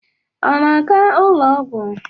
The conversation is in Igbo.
Ọ na-aga ụlọ ọgwụ?